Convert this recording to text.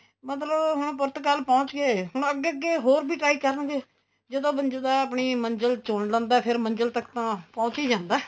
ਮਤਲਬ ਹੁਣ ਪੁਰਤਗਾਲ ਪਹੁੰਚ ਗਏ ਅੱਗੇ ਅੱਗੇ ਹੋਰ ਵੀ try ਕਰਾਂਗੇ ਜਦੋਂ ਬੰਦਾ ਆਪਣੀ ਮੰਜਿਲ ਚੁਣ ਲੈਂਦਾ ਫੇਰ ਮੰਜਿਲ ਤੱਕ ਤਾਂ ਪਹੁੰਚ ਹੀ ਜਾਂਦਾ